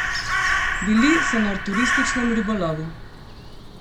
Bili so na turističnem ribolovu.